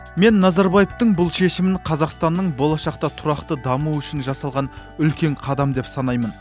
мен назарбаевтың бұл шешімін қазақстанның болашақта тұрақты дамуы үшін жасалған үлкен қадам деп санаймын